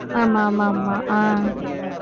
ஆமா ஆமா ஆமா ஆஹ்